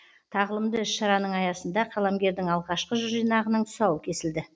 тағылымды іс шараның аясында қаламгердің алғашқы жыр жинағының тұсауы кесілді